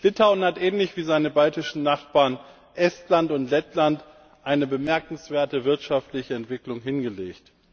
Litauen hat ähnlich wie seine baltischen Nachbarn Estland und Lettland eine bemerkenswerte wirtschaftliche Entwicklung hingelegt.